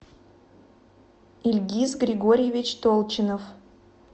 ильгиз григорьевич толчинов